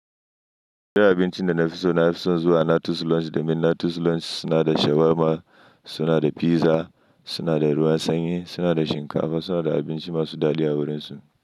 JGidan abincin da na fi so na fi son zuwa Nature's Lounge domin Nature's Lounge suna da shawarma, suna da pizza, suna da ruwan sanyi, suna da shinkafa, suna da abinci masu dadi a wurinsu.